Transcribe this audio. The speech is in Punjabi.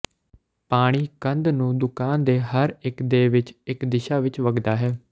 ਪਾਣੀ ਕੰਧ ਨੂੰ ਦੁਕਾਨ ਦੇ ਹਰ ਇੱਕ ਦੇ ਵਿੱਚ ਇੱਕ ਦਿਸ਼ਾ ਵਿੱਚ ਵਗਦਾ ਹੈ